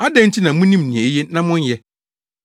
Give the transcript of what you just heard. “Adɛn nti na munim nea eye na monyɛ?